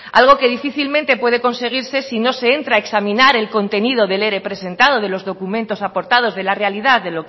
algo que difícilmente puede conseguirse si no se entra examinar el contenido del ere presentado de los documentos aportados de la realidad